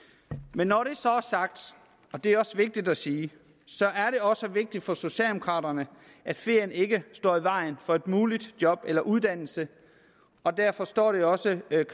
men når det så er sagt og det er også vigtigt at sige er det også vigtigt for socialdemokraterne at ferien ikke står i vejen for et muligt job eller uddannelse og derfor står det også